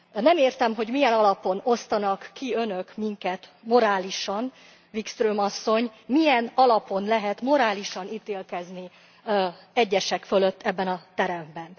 Nem értem, hogy milyen alapon osztanak ki Önök minket morálisan, Wikström asszony, milyen alapon lehet morálisan ítélkezni egyesek fölött ebben a teremben.